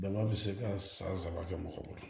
Dama bɛ se ka san saba kɛ mɔgɔ bolo